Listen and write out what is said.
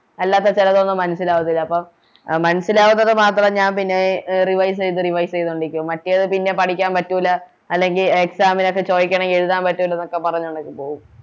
അല്ലാതെ ചെലതൊന്നും മനസ്സിലാവത്തില്ല അപ്പോം മനസ്സിലാവുന്നത് മാത്രം ഞാൻ പിന്നെ എ Revise revise ണ്ടിരിക്കും മറ്റേത് പിന്നെ പഠിക്കാൻ പറ്റൂല അല്ലെങ്കി Exam നോക്കെ ചോയിക്കാണെങ്കിൽ എഴുതാൻ പറ്റൂല എന്നൊക്കെ പറഞ്ഞങ്ങോട്ടേക്ക് പോകും